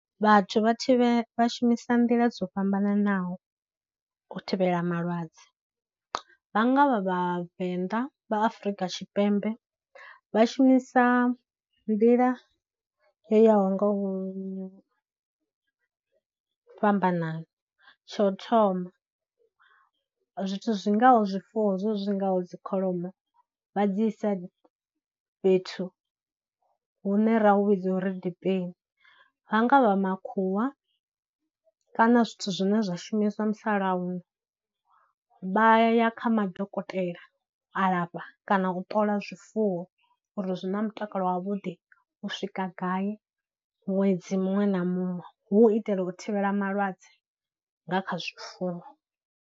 Vhathu vha thivhe, vha shumisa nḓila dzo fhambananaho u thivhela malwadze, vha nga vha Vhavenḓa vha Afurika Tshipembe vha shumisa nḓila yo yaho nga u fhambanana. Tsho thoma zwithu zwi ngaho zwifuwo zwe zwi zwi ngaho dzikholomo vha dzi isa fhethu hune ra hu vhidza uri dipeni, vha nga vha makhuwa kana zwithu zwine zwa shumiswa musalauno vha ya ya kha madokotela alafha kana u ṱola zwifuwo uri zwi na mutakalo wa vhuḓi u swika gai ṅwedzi muṅwe na muṅwe hu u itela u thivhela malwadze kha zwifuwo.